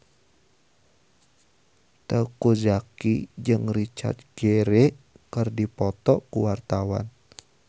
Teuku Zacky jeung Richard Gere keur dipoto ku wartawan